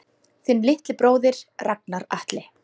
Þinn litli bróðir, Ragnar Atli.